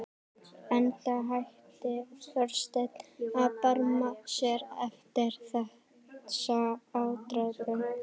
Enda hætti Þorsteinn að barma sér eftir þessa ádrepu.